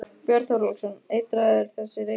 Björn Þorláksson: Eitraður þessi reykur?